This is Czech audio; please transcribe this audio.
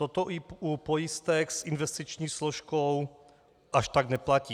Toto i u pojistek s investiční složkou až tak neplatí.